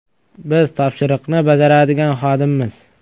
Biz topshiriqni bajaradigan xodimmiz.